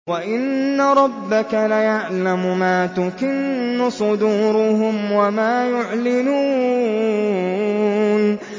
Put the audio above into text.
وَإِنَّ رَبَّكَ لَيَعْلَمُ مَا تُكِنُّ صُدُورُهُمْ وَمَا يُعْلِنُونَ